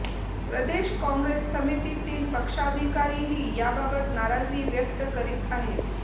प्रदेश काँग्रेस समितीतील पक्षाधिकारीही याबाबत नाराजी व्यक्त करीत आहेत